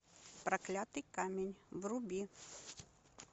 проклятый камень вруби